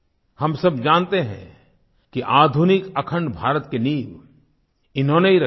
हम सब जानते हैं कि आधुनिक अखण्ड भारत की नींव इन्होंने ही रखी थी